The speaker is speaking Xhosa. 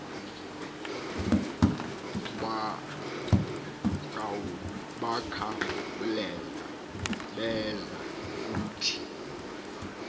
bakhawuleza beza kuthi